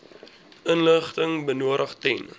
inligting benodig ten